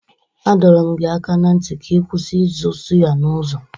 A dọrọ m gị aka na ntị ka ị kwụsị ịzụ sụyà n'ụzọ!